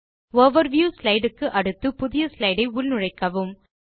overview slide க்கு அடுத்து புதிய ஸ்லைடு ஐ உள்நுழைக்கவும்